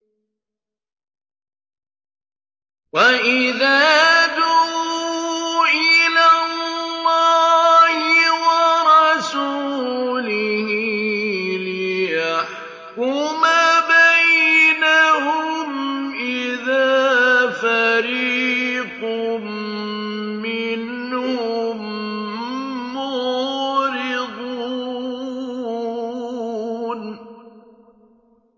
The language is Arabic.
وَإِذَا دُعُوا إِلَى اللَّهِ وَرَسُولِهِ لِيَحْكُمَ بَيْنَهُمْ إِذَا فَرِيقٌ مِّنْهُم مُّعْرِضُونَ